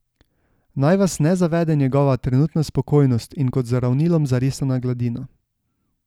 Naj vas ne zavede njegova trenutna spokojnost in kot z ravnilom zarisana gladina.